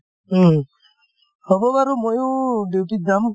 উম, হব বাৰু ময়ো duty ত যাম